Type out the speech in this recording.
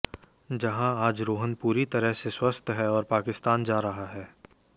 जहां आज रोहान पूरी तरह से स्वस्थ है और पाकिस्तान जा रहा है